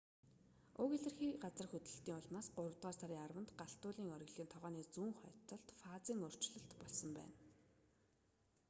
уг илэрхий газар хөдлөлтийн улмаас гуравдугаар сарын 10-нд галт уулын оргилын тогооны зүүн хойд талд фазын өөрчлөлт болсон байна